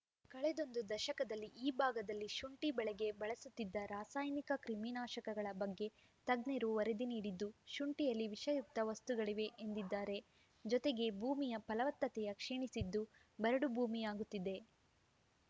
ಕಳೆದೊಂದು ದಶಕದಲ್ಲಿ ಈ ಭಾಗದಲ್ಲಿ ಶುಂಠಿ ಬೆಳೆಗೆ ಬಳಸುತ್ತಿರುವ ರಾಸಾಯನಿಕ ಕ್ರಿಮಿನಾಶಕಗಳ ಬಗ್ಗೆ ತಜ್ಞರು ವರದಿ ನೀಡಿದ್ದು ಶುಂಠಿಯಲ್ಲಿ ವಿಷಯುಕ್ತ ವಸ್ತುಗಳಿವೆ ಎಂದಿದ್ದಾರೆ ಜೊತೆಗೆ ಭೂಮಿಯ ಫಲವತ್ತತೆ ಕ್ಷೀಣಿಸಿದ್ದು ಬರಡು ಭೂಮಿಯಾಗುತ್ತಿದೆ